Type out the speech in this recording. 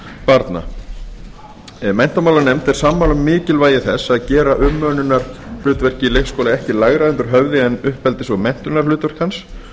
barna menntamálanefnd er sammála mikilvægi þess að gera umönnunarhlutverki leikskóla ekki lægra undir höfði en uppeldis og menntunarhlutverki hans